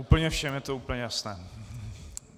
Úplně všem je to úplně jasné.